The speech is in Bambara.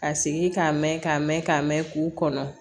Ka sigi k'a mɛn k'a mɛn k'a mɛn k'u kɔnɔ